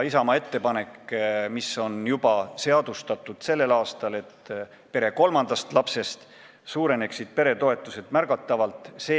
Isamaa ettepanek oli, et alates pere kolmandast lapsest suureneksid peretoetused märgatavalt, ja see on tänavu juba seadustatud.